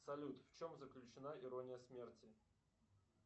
салют в чем заключена ирония смерти